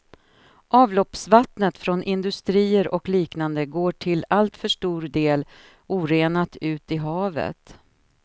Avloppsvattnet från industrier och liknande går till alltför stor del orenat ut i havet.